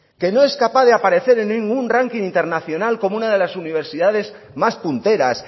que no es capaz de aparecer en ningún ranking internacional como una de las universidades más punteras